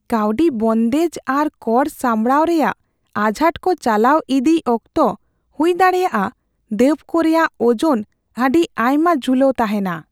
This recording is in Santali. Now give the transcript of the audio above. ᱠᱟᱹᱣᱰᱤ ᱵᱚᱱᱫᱮᱡ ᱟᱨ ᱠᱚᱨ ᱥᱟᱯᱲᱟᱣ ᱨᱮᱭᱟᱜ ᱟᱡᱷᱟᱴ ᱠᱚ ᱪᱟᱞᱟᱣ ᱤᱫᱤᱭ ᱚᱠᱛᱚ ᱦᱩᱭᱫᱟᱲᱮᱭᱟᱜ ᱫᱟᱹᱵ ᱠᱚ ᱨᱮᱭᱟᱜ ᱳᱡᱚᱱ ᱟᱹᱰᱤ ᱟᱭᱢᱟ ᱡᱷᱩᱞᱟᱹᱣ ᱛᱟᱦᱮᱸᱱᱟ ᱾